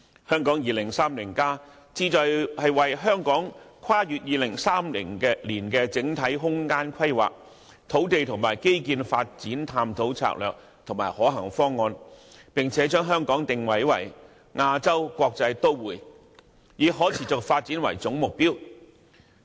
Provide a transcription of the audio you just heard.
《香港 2030+》旨在為香港跨越2030年的整體空間規劃，土地和基建發展探討策略和可行方案，並將香港定位為亞洲國際都會，以可持續發展為總目標。